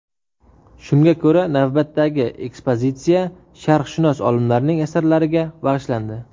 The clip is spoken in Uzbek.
Shunga ko‘ra, navbatdagi ekspozitsiya sharqshunos olimlarning asarlariga bag‘ishlandi.